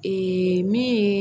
Ee min ye